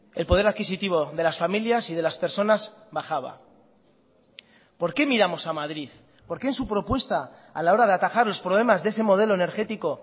el poder adquisitivo de las familias y de las personas bajaba por qué miramos a madrid por qué en su propuesta a la hora de atajar los problemas de ese modelo energético